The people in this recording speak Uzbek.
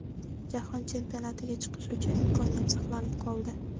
Jahon Chempionatiga chiqish uchun imkoniyat saqlanib qoldi.